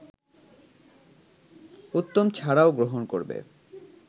উত্তম ছাড়াও গ্রহণ করবে